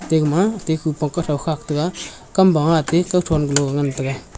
ate gama te khupong kuthow khak taiga kamba ma ate kuthow galon ngan taiga.